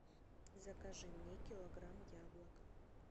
закажи мне килограмм яблок